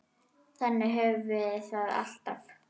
Þannig höfum við það alltaf.